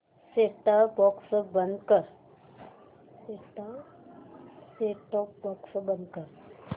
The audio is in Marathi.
सेट टॉप बॉक्स बंद कर